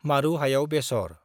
मारु हायाव बेसर